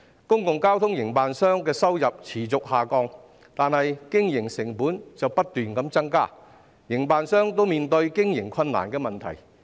公共交通營辦商的收入持續下降，但經營成本卻不斷增加，營辦商均面對經營困難的問題。